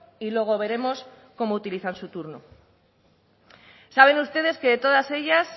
y luego veremos cómo utilizar su turno saben ustedes que todas ellas